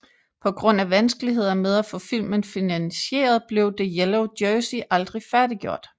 På grund af vanskeligheder med at få filmen finansieret blev The Yellow Jersey aldrig færdiggjort